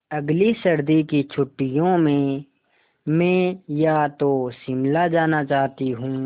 अगली सर्दी की छुट्टियों में मैं या तो शिमला जाना चाहती हूँ